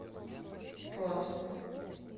классно